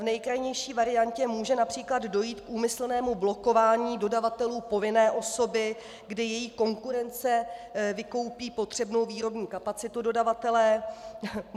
V nejkrajnější variantě může například dojít k úmyslnému blokování dodavatelů povinné osoby, kdy její konkurence vykoupí potřebnou výrobní kapacitu dodavatele.